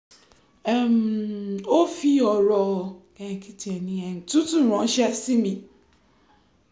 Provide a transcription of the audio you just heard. um ó fi ọ̀rọ̀ tútù ránṣẹ́ sí mi